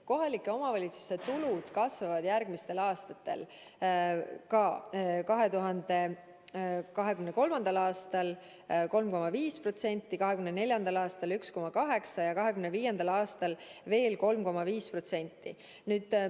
Kohalike omavalitsuste tulud kasvavad ka järgmistel aastatel: 2023. aastal 3,5%, 2024. aastal 1,8%, 2025. aastal veel 3,5%.